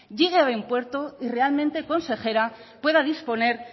llegue a buen puerto y realmente consejera pueda disponer